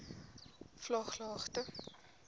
vlaaglagte